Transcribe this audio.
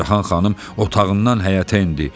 Pərcəhan xanım otağından həyətə endi.